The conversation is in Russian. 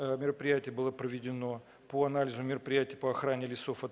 мероприятие было проведено по анализу мероприятий по охране лесов от